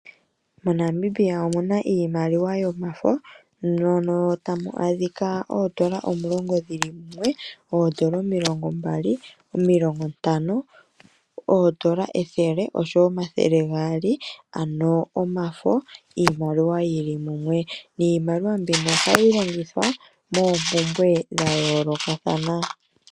Mo Namibia omuna iimaliwa yomafo, mono tamu adhika oodola omulongo dhili mumwe, oodola omilongo mbali, omilongo ntano, oodola ethele oshowo omathele gaali ano omafo iimaliwa yili mumwe, niimaliwa mbino ohayi longithwa moompumbwe dha yoolokathana.